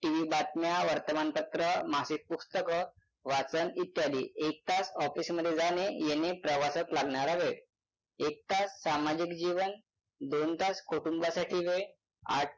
TV बातम्या वर्तमानपत्र मासिक पुस्तक वाचन इत्यादी एक तास office मध्ये जाणे येणे प्रवासात लागणारा वेळ एक तास सामाजिक जीवन दोन तास कुटुंबासाठी वेळ आठ